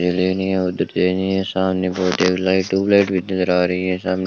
सामने बहुत एक ट्यूबलिफ नजर आ रही हैं। सामने --